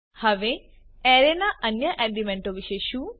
હવે એરે ના અન્ય એલીમેન્ટો વિશે શું